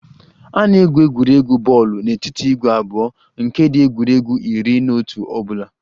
A na-egwu egwuregwu bọọlụ n'etiti ìgwè abụọ nke ndị egwuregwu iri na otu ọ bụla